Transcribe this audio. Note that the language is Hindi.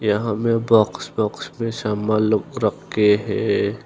यहां मे बॉक्स बॉक्स पे सामान लोग रख के है।